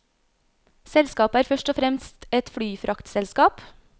Selskapet er først og fremst et flyfraktselskap.